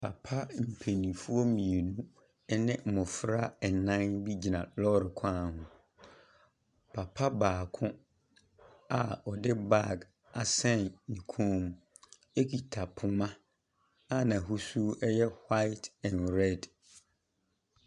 Papa mpaninfoɔ mmienu ɛne mmɔfra ɛnan bi gyina lɔre kwan ho. Papa baako a ɔde bag asɛn ne koom ɛkita poma a n'ahosuo yɛ hwaet ɛn rɛd.